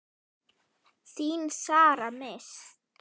Þín Sara Mist.